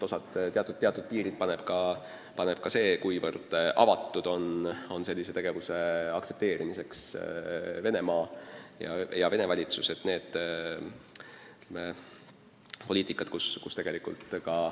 Osalt sõltub see aga sellest, mil määral aktsepteerib seda tegevust Venemaa, Vene valitsus.